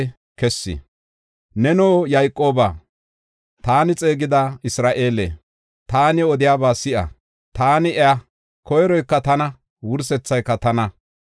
“Neno Yayqooba, taani xeegida Isra7eele, taani odiyaba si7a; taani iya; koyroyka tana; wursethayka tana.